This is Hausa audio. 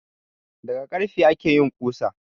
Daga karfe ake yin ƙusa